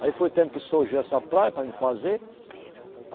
Aí foi o tempo que surgiu essa praia para mim fazer.